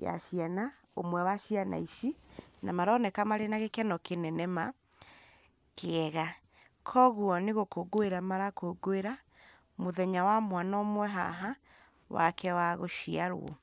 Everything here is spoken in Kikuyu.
ya ciana, ũmwe wa ciana ici, na maroneka marĩ na gĩkeno kĩnene ma, kĩega. Koguo nĩ gũkũngũĩra marakũngũĩra mũthenya wa mwana ũmwe haha wake wa gũciarwo.